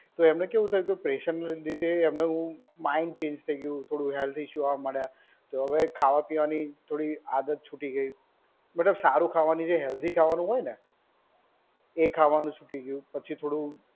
તો એમને કેવું થયું કે પ્રેશર ના લીધે એમનું માઇન્ડ ચેંજ થઈ ગયું થોડું, થોડા હેલ્થ ઇશ્યૂ આવવા મંડ્યા, હવે પીવાની આદત છૂટી ગઈ. મતલબ સારું ખાવાનું જે હેલ્દી ખાવાનું હોય ને એ ખાવાનું છૂટી ગયું. પછી થોડું